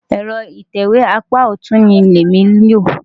Ẹ̀rọ ìtẹ̀wé apá ọ̀tún ni èmi lò.